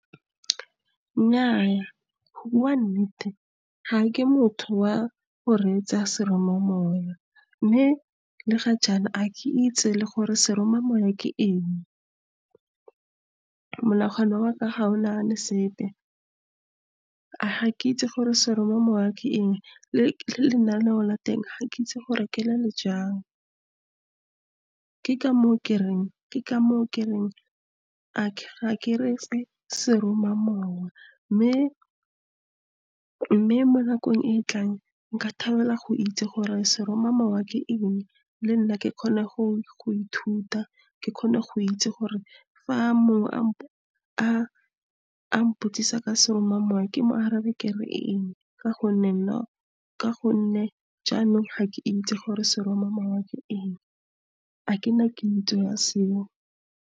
Nnyaa, go bua nnete, ga ke motho wa go reetsa seromamowa. Mme le ga jaana, ga ke itse le gore seromamowa ke eng. Monagano wa ka ga o nagane sepe. Ga ke itse gore seroma mowa ke eng, le lenaneo la teng ga ke itse gore ke le le jang. Ke ka moo ke reng ga ke reetse seroma mowa. mme mo nakong e e tlang, nka thabela go itse gore seroma mowa ke eng, le nna ke kgone go ithuta, ke kgone go itse gore fa mongwe a mpotsisa ka seroma mowa, ke mo arabe, ke reng , ka gonne jaanong ga ke itse gore seroma mowa ke eng. Ga ke na kitso ya seo.